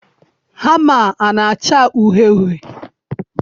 hama a na-acha uhie uhie?